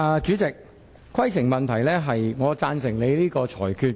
主席，我的規程問題是，我贊成你的裁決。